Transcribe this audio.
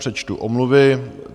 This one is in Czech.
Přečtu omluvy.